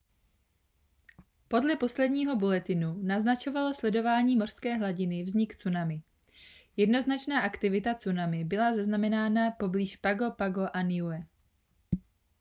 podle posledního bulletinu naznačovalo sledování mořské hladiny vznik tsunami jednoznačná aktivita tsunami byla zaznamenána poblíž pago pago a niue